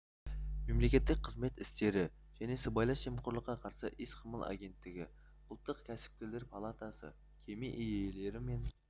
мемлекеттік қызмет істері және сыбайлас жемқорлыққа қарсы іс-қимыл агенттігі ұлттық кәсіпкерлер палатасы кеме иелері мен